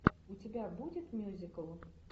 у тебя будет мюзикл